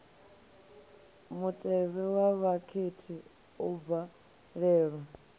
mutevhe wa vhakhethi u bvalelwa